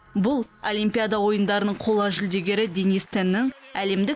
бұл олимпиада ойындарының қола жүлдегері денис теннің әлемдік